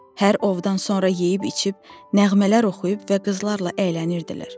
Hər ovdan sonra yeyib-içib, nəğmələr oxuyub və qızlarla əylənirdilər.